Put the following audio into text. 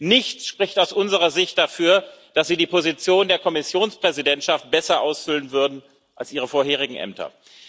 Nichts spricht aus unserer Sicht dafür, dass Sie die Position der Kommissionspräsidentschaft besser ausfüllen würden als Ihre vorherigen Ämter.